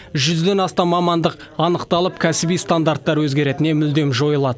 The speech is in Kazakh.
жүзден астам мамандық анықталып кәсіби стандарттар өзгереді не мүлдем жойылады